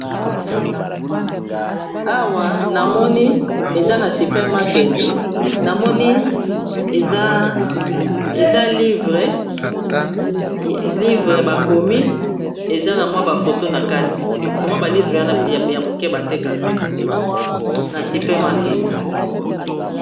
awa namoni eza na supermaketi namoni eza livre bakomi eza na mwa bafoto na kati to mwa balivre wana ya moke batekaka na supermarketi